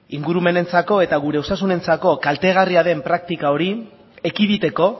ingurumenentzako eta gure osasunentzako kaltegarria den praktika hori ekiditeko